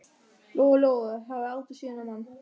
Lóa-Lóa hafði aldrei séð þennan mann.